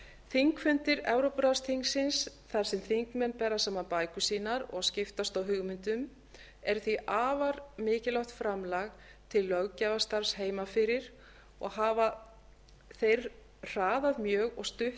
þingfundir evrópuráðsþingsins þar sem þingmenn bera saman bækur sínar og skiptast á hugmyndum eru því afar mikilvægt framlag til löggjafarstarfs heima fyrir og hafa þeir hraðað mjög og stutt